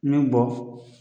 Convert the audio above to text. Nin bɔ